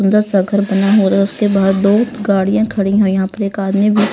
अंदर सा घर बना हो रहा उसके बाहर दो गाड़ियां खड़ी हैं यहां पे एक आदमी भी--